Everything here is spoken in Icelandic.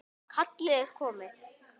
Kallið er komið.